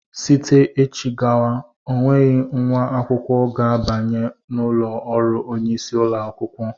Zite echi gawa ọ nweghị nwa akwụkwọ ga-abanye n'ụlọ ọrụ onyeisi ụlọ akwụkwọ!